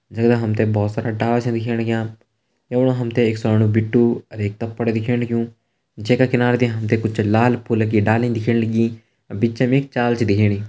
जगदा हम तें बहोत सारा डाला छा दिखेण लग्यां यमणु हम तें एक स्वाणु भिट्ठु अर एक तपर दिखेण लग्युं जे का किनारा दी हम तें कुछ लाल फुल की डाली दिखेण लगी अर बिच्च मा एक चाल छ दिखेणी।